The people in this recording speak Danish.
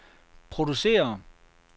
producerer